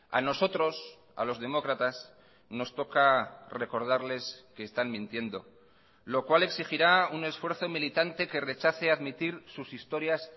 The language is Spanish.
a nosotros a los demócratas nos toca recordarles que están mintiendo lo cual exigirá un esfuerzo militante que rechace admitir sus historias